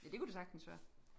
Ja det kunne det sagtens være